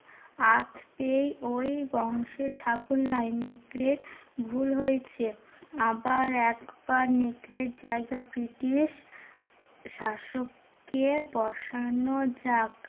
আঁচ পেয়ে ওই বংশে ছাগল নয় নেকড়ের ভুল হয়েছে। আবার একবার নেকড়ের জায়গা ব্রিটিশ শাসককে বসানো যাক